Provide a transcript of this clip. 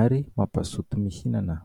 ary mampazoto mihinana.